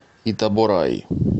итабораи